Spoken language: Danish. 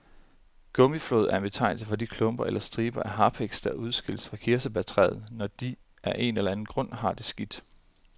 Gummiflåd er betegnelsen for de klumper eller striber af harpiks, der udskilles fra kirsebærtræer, når de af en eller anden grund har det skidt.